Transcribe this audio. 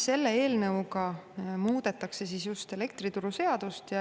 Selle eelnõuga muudetakse elektrituruseadust.